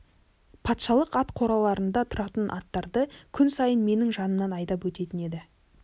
патшалық ат қораларында тұратын аттарды күн сайын менің жанымнан айдап өтетін еді